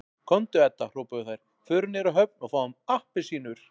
Komdu Edda hrópuðu þær, förum niður á höfn og fáum APPELSÍNUR